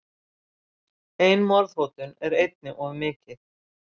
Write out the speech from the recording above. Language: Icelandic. Ein morðhótun er einni of mikið.